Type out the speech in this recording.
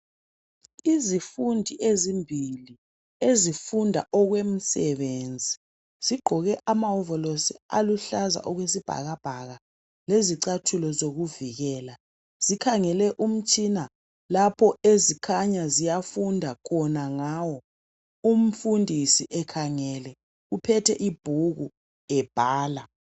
Izifundi ezimbili ezifunda okwemisebenzi zigqoke amawovolosi aluhlaza okwesibhakabhaka lezicathulo zokuvikela zikhangele umtshina lapho ezikhanya ziyafunda khona ngawo umfundisi ekhangele uphethe ibhuku ebhala.